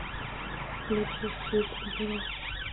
включи стьюпид герл